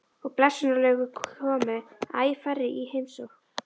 Og blessunarlega komu æ færri í heimsókn.